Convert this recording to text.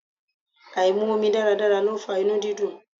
Áì mu omi dáradára ló fa inú dídùn.